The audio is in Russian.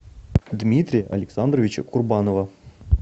дмитрия александровича курбанова